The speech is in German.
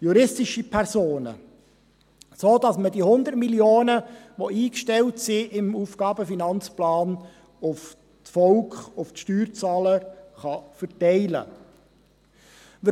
juristische Personen, sodass man diese 100 Mio. Franken, die im AFP eingestellt sind, auf das Volk, auf die Steuerzahler, verteilen kann.